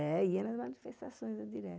É, ia nas manifestações, nas diretas.